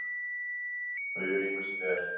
þau eru ýmist ber